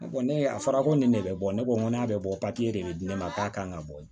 Ne bɔ ne a fɔra ko nin ne bɛ bɔ ne ko n ko n'a bɛ bɔ papiye de bɛ di ne ma k'a kan ka bɔ yen